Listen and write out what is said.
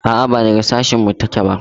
A'a ba daga sashin mu ta ke ba